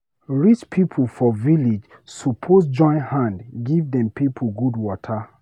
Rich pipo for village suppose join hand give dem pipo good water.